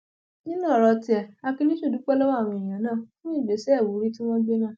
nínú ọrọ tiẹ akiníṣùn dúpẹ lọwọ àwọn èèyàn náà fún ìgbésẹ ìwúrí tí wọn gbé náà